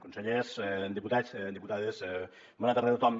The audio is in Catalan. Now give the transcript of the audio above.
consellers diputats diputades bona tarda a tothom